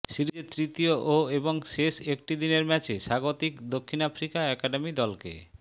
সিরিজের তৃতীয়ও এবং শেষ একটি দিনের ম্যাচে স্বাগতিক দক্ষিণ আফ্রিকা একাডেমি দলকে